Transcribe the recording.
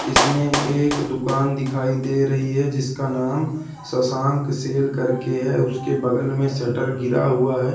इसमें एक दुकान दिखाई दे रही है जिसका नाम शशांक सेल करके है उसके बगल में शटर गिरा हुआ है।